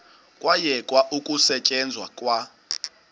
kwayekwa ukusetyenzwa kwa